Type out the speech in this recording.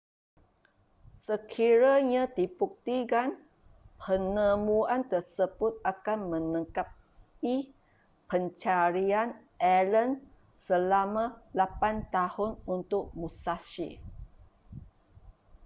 sekiranya dibuktikan penemuan tersebut akan melengkapi pencarian allen selama lapan tahun untuk musashi